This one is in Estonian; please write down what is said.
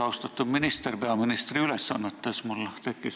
Austatud minister peaministri ülesannetes!